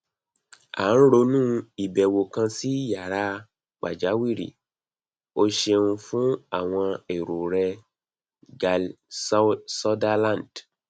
a n ronu ibewo kan si yara pajawiri o ṣeun fun awọn ero rẹ gale sutherland